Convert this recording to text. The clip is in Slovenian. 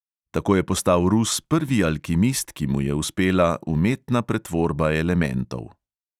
Tako je postal rus prvi alkimist, ki mu je uspela umetna pretvorba elementov.